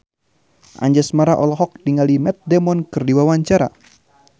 Anjasmara olohok ningali Matt Damon keur diwawancara